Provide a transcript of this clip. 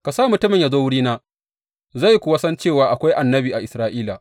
Ka sa mutumin yă zo wurina, zai kuwa san cewa akwai annabi a Isra’ila.